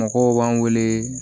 Mɔgɔw b'an wele